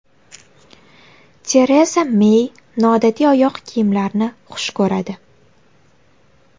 Tereza Mey noodatiy oyoq kiyimlarni xush ko‘radi.